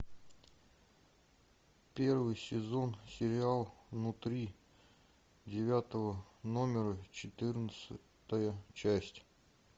первый сезон сериал внутри девятого номера четырнадцатая часть